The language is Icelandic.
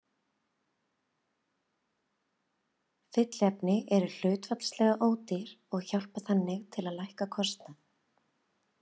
Fylliefni eru hlutfallslega ódýr og hjálpa þannig til að lækka kostnað.